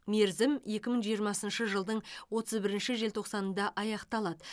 мерзім екі мың жиырмасыншы жылдың отыз бірінші желтоқсанында аяқталады